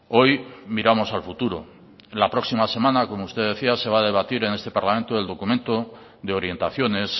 hoy miramos al futuro la próxima semana como usted decía se va a debatir en este parlamento el documento de orientaciones